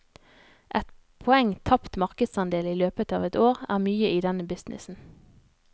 Ett poeng tapt markedsandel i løpet av et år, er mye i denne businessen.